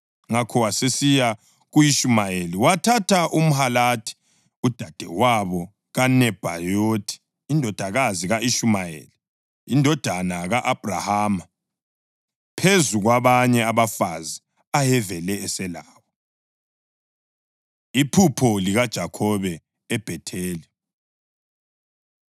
ngakho wasesiya ku-Ishumayeli wathatha uMahalathi, udadewabo kaNebhayothi, indodakazi ka-Ishumayeli indodana ka-Abhrahama, phezu kwabanye abafazi ayevele eselabo. Iphupho LikaJakhobe EBhetheli